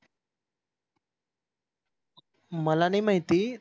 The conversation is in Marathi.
मला नाही माहिती